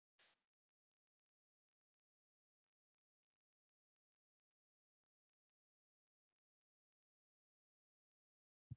sagði annar strákurinn flissandi og leit á Sonju.